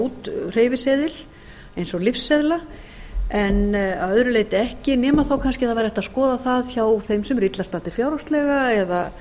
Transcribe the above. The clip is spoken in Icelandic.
út hreyfiseðil eins og lyfseðla en að öðru leyti ekki nema þá kannski að það væri hægt að skoða það hjá þeim sem eru illa staddir fjárhagslega eða